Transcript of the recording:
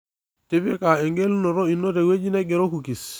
Tipika egelunoto ino tewueji naing'ero Kukis